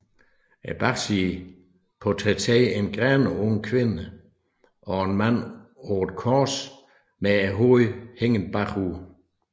Bagsiden portrætterer en grædende ung kvinde og en mand på et kors med hovedet hængende bagud